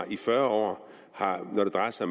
i fyrre år når det drejer sig